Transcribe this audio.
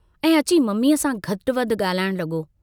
ऐं अची मम्मीअ सां घटि वधि गाल्हाइण लगो।